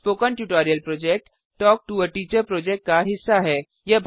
spoken tutorial project talk to a teacher project का हिस्सा है